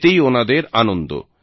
এতেই ওনাদের আনন্দ